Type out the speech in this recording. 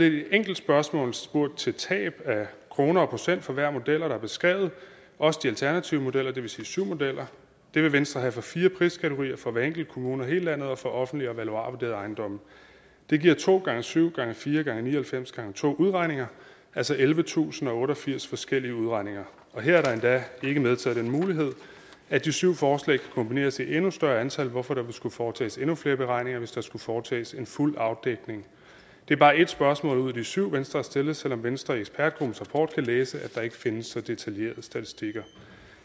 i et enkelt spørgsmål spurgt til tab af kroner og procent for hver model der er beskrevet også de alternative modeller det vil sige for syv modeller det vil venstre have for fire priskategorier for hver enkelt kommune i hele landet og for offentligt og valuarvurderede ejendomme det giver to gange syv gange fire gange ni og halvfems gange to udregninger altså ellevetusinde og otteogfirs forskellige udregninger og her er der endda ikke medtaget den mulighed at de syv forslag kan kombineres til et endnu større antal hvorfor der vil skulle foretages endnu flere beregninger hvis der skulle foretages en fuld afdækning det er bare ét spørgsmål ud af de syv venstre har stillet selv om venstre i ekspertgruppens rapport kan læse at der ikke findes så detaljerede statistikker